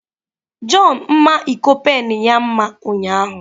John mma iko pen ya mma ụnyahụ.